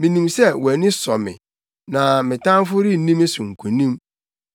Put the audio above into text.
Minim sɛ wʼani sɔ me, na me tamfo renni me so nkonim.